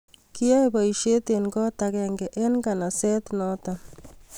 kiyoei poishet eng kot akenge eng naganaset noto